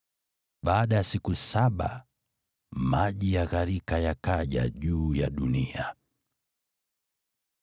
Baada ya siku saba, maji ya gharika yakaja juu ya dunia.